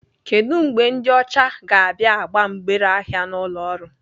Kedu mgbe ndị ọcha ga-abịa agba mgbere ahịa n'ụlọ ọrụ?